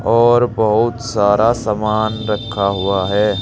और बहुत सारा सामान रखा हुआ है।